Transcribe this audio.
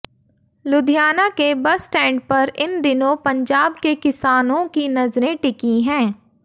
लुधियाना के bus stand पर इन दिनों पंजाब के किसानों की नजरें टिकी हैं